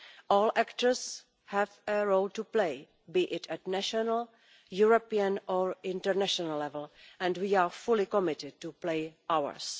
All actors have a role to play, be it at national, European or international level, and we are fully committed to playing ours.